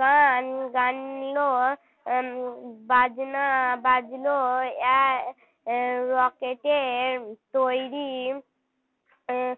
গান গাইলো উম বাজনা বাজল এক রকেটে তৈরি আহ